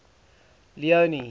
leone